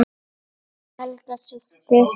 Helga systir.